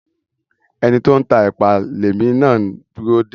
Ẹni tó ń tá èpà lèmi na ń dúró dè.